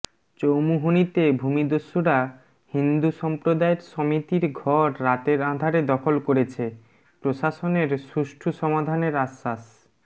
চৌমুহনীতে ভূমিদস্যুরা হিন্দু সমপ্রদায়ের সমিতির ঘর রাতের আঁধারে দখল করেছে প্রশাসনের সুষ্ঠু সমাধানের আশ্বাস